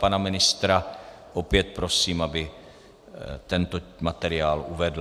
Pana ministra opět prosím, aby tento materiál uvedl.